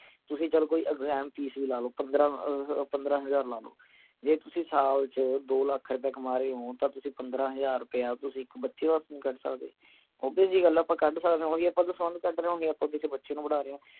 ਤੁਸੀਂ ਚੱਲੋ ਕੋਈ exam fees ਵੀ ਲਾ ਲਓ ਪੰਦ੍ਰਹ ਅਹ ਪੰਦ੍ਰਹ ਹਜਾਰ ਲਾ ਲਓ ਜੇ ਤੁਸੀਂ ਸਾਲ ਚ ਦੋ ਲੱਖ ਰੁਪਈਆ ਕਮਾ ਰਹੇ ਹੋ ਤਾਂ ਤੁਸੀਂ ਪੰਦ੍ਰਹ ਹਜਾਰ ਰੁਪਈਆ ਤੁਸੀਂ ਇਕ ਬੱਚੇ ਵਾਸਤੇ ਨਹੀਂ ਕੱਢ ਸਕਦੇ obvious ਜੀ ਗੱਲ ਆ ਆਪਾਂ ਕੱਢ ਸਕਦੇ ਆ ਓਹੀ ਆਪਾਂ ਦਸਵੰਦ ਕੱਢ ਲਾਂਗੇ ਆਪਾਂ ਕਿਸੇ ਬੱਚੇ ਨੂੰ ਪੜ੍ਹਾ ਰਹੇ ਆ